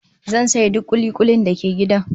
Zan saye duk kuli-kulin da ke gidan